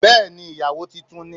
Bẹ́ẹ̀ni ìyàwó titun ni